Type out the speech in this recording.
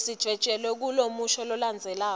lesidvwetjelwe kulomusho lolandzelako